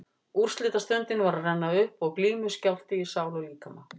Úrslitastundin var að renna upp og glímuskjálfti í sál og líkama.